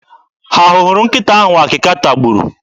Ha hụrụ nkịta ahụ akịka tagburu?